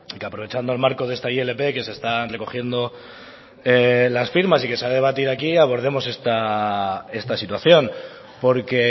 que aprovechando el marco de esta ilp que se está recogiendo las firmas y que se ha debatido aquí abordemos esta situación porque